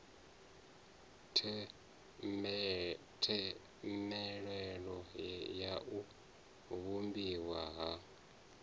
themendelo ya u vhumbiwa ha